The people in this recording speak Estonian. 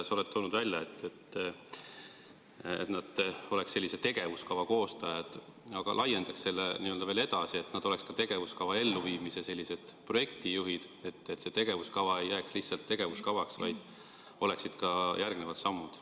Sa tõid välja, et nad oleks tegevuskava koostajad, aga laiendaks seda veel edasi, et nad oleks ka tegevuskava elluviimise projektijuhid, et see tegevuskava ei jääks lihtsalt tegevuskavaks, vaid oleksid ka järgnevad sammud.